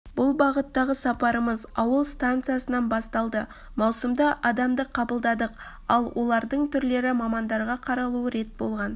бүл бағыттагы сапарымыз ауыл станциясынан басталды маусымда адамды қабылдадық ал олардың түрлі мамандарға қаралуы рет болған